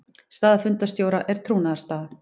Staða fundarstjóra er trúnaðarstaða.